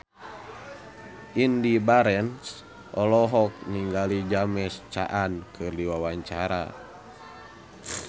Indy Barens olohok ningali James Caan keur diwawancara